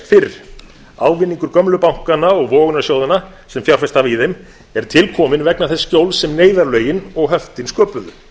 fyrr ávinningur gömlu bankanna og vogunarsjóðanna sem fjárfest hafa í þeim er til kominn vegna þess skjóls sem neyðarlögin og höftin sköpuðu